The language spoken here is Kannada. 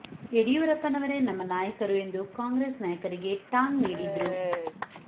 ಯಡಿಯೂರಪ್ಪ ನವರೇ ನಮ್ಮ ನಾಯಕರು ಎಂದು ಕಾಂಗ್ರೆಸ್ ನಾಯಕರಿಗೆ ಟಾಂಗ್ ನೀಡಿದ್ರು